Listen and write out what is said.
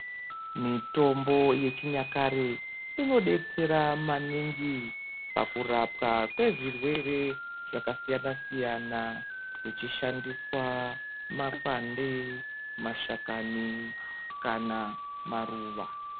Mitombo yechinyakare inodetsera maningi pakurapwa kwezvirwere zvakasiyana -siyana kuchishandiswa makwande, mashakani kana maruva.